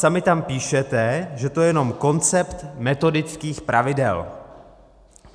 Sami tam píšete, že to je jenom koncept metodických pravidel.